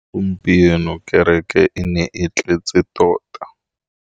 Gompieno kêrêkê e ne e tletse tota.